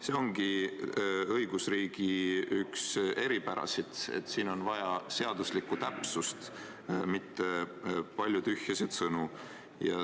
See ongi õigusriigi üks eripärasid, et siin on vaja seaduslikku täpsust, mitte palju tühjasid sõnu.